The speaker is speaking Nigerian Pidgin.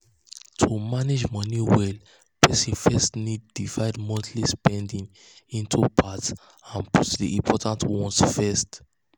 to um manage money um well person first need um divide monthly spending into parts and put the important ones first.